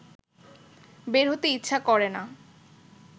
বের হতে ইচ্ছা করে না